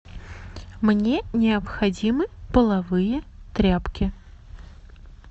мне необходимы половые тряпки